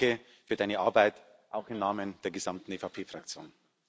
Deswegen Danke für Deine Arbeit, auch im Namen der gesamten EVP Fraktion.